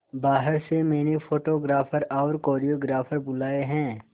बाहर से मैंने फोटोग्राफर और कोरियोग्राफर बुलाये है